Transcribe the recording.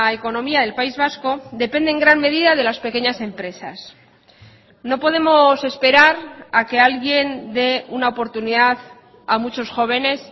economía del país vasco depende en gran medida de las pequeñas empresas no podemos esperar a que alguien de una oportunidad a muchos jóvenes